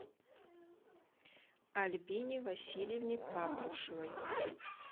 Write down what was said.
альбине васильевне патрушевой